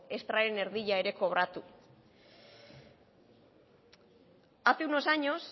extraren erdia ere kobratu hace unos años